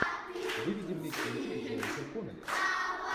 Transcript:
выведи мне кинчик с дженнифер коннелли